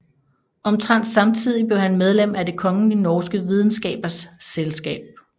Omtrent samtidig blev han medlem af Det Kongelige Norske Videnskabers Selskab